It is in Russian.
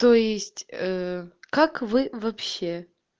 то есть ээ как вы вообще